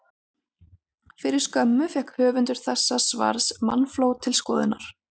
Fyrir skömmu fékk höfundur þessa svars mannafló til skoðunar.